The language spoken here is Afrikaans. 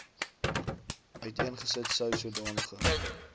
uiteengesit sou sodanige